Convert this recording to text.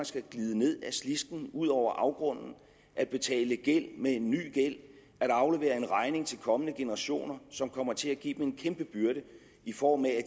skal glide ned ad slisken og ud over afgrunden at betale gæld med en ny gæld at aflevere regningen til kommende generationer en som kommer til at give dem en kæmpe byrde i form af at